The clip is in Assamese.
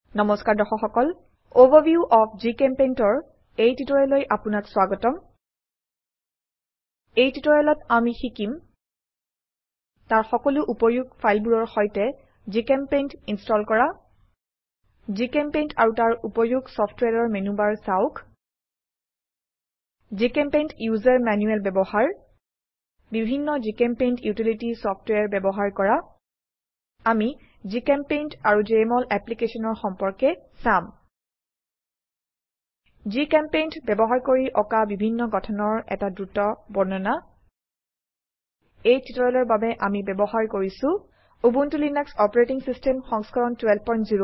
নমস্কাৰ দৰ্শক সকল অভাৰভিউ অফ GChemPaintৰ এই টিউটোৰিয়েললৈ আপোনাক স্ৱাগতম এই টিউটোৰিয়েলত আমি শিকিম তাৰ সকলো উপয়োগ ফাইলবোৰৰ সৈতে জিচেম্পেইণ্ট ইনস্টল কৰা জিচেম্পেইণ্ট আৰু তাৰ উপযোগ সফটওয়্যাৰৰ মেনুবাৰ চাওক জিচেম্পেইণ্ট ইউজাৰ ম্যানুয়াল ব্যবহাৰ বিভিন্ন জিচেম্পেইণ্ট ইউটিলিটি সফটওয়্যাৰ ব্যবহাৰ কৰা আমি জিচেম্পেইণ্ট আৰু জেএমঅল অ্যাপ্লিকেশনৰ সম্পৰ্ক চাম জিচেম্পেইণ্ট ব্যবহাৰ কৰি অকা বিভিন্ন গঠনৰ এটা দ্ৰুত বৰ্ণনা এই টিউটোৰিয়েলৰ বাবে আমি ব্যবহাৰ কৰিছো উবুন্টু লিনাক্স অপাৰেটিং সিস্টেম সংস্কৰণ 1204